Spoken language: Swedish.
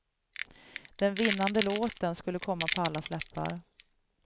Den vinnande låten skulle komma på allas läppar.